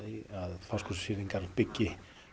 Fáskrúðsfirðingar byggi